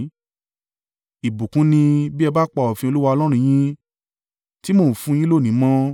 ìbùkún ni, bí ẹ bá pa òfin Olúwa Ọlọ́run yín, tí mo ń fún un yín lónìí mọ́.